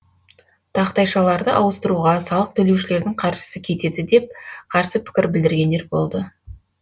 тақтайшаларды ауыстыруға салық төлеушілердің қаржысы кетеді деп қарсы пікір білдіргендер болды